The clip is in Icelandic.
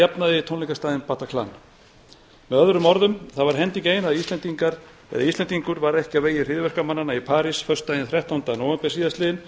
að jafnaði tónleikastaðinn bataclan með öðrum orðum það var hending ein að íslendingur varð ekki á vegi hryðjuverkamannanna í parís föstudaginn þrettánda nóvember síðastliðinn